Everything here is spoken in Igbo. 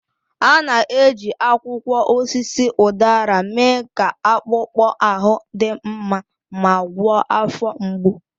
A na-eji akwụkwọ osisi udara mee ka akpụkpọ ahụ dị mma ma gwọọ afọ mgbu.